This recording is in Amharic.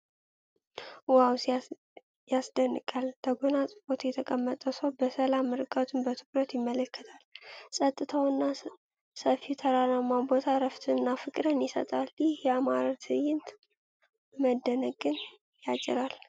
ዋው ያስደንቃል ! ተጎናጽፎ የተቀመጠው ሰው በሰላም ርቀቱን በትኩረት ይመለከታል። ፀጥታውና ሰፊው ተራራማ ቦታ እረፍትና ፍቅርን ይሰጣል። ይህ ያማረ ትዕይንት መደነቅን ያጭራል።